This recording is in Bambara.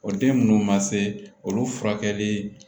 O den nunnu ma se olu furakɛli